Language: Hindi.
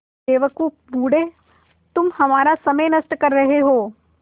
बेवकूफ़ बूढ़े तुम हमारा समय नष्ट कर रहे हो